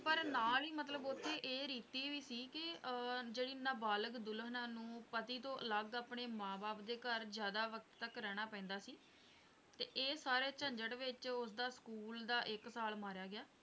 ਪਰ ਨਾਲ ਹੀ ਮਤਲੱਬ ਉੱਥੇ ਇਹ ਰੀਤੀ ਵੀ ਸੀ ਕਿ ਅਹ ਜਿਹੜੀ ਨਾਬਾਲਗ ਦੁਲਹਨਾਂ ਨੂੰ ਪਤੀ ਤੋਂ ਅਲੱਗ ਆਪਣੇ ਮਾਂ - ਬਾਪ ਦੇ ਘਰ ਜਿਆਦਾ ਵਕਤ ਤੱਕ ਰਹਿਣਾ ਪੈਂਦਾ ਸੀ ਤੇ ਇਹ ਸਾਰੇ ਝੰਝਟ ਵਿੱਚ ਉਸਦਾ school ਦਾ ਇੱਕ ਸਾਲ ਮਾਰਿਆ ਗਿਆ,